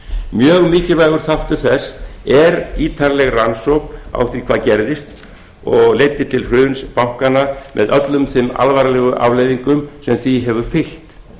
mjög mikilvægur þáttur þess er ítarleg rannsókn á því hvað gerðist og leiddi til hruns bankanna með öllum þeim alvarlegu afleiðingum sem því hefur fylgt